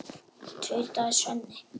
tautaði Svenni.